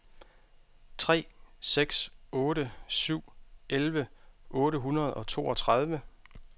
tre seks otte syv elleve otte hundrede og toogtredive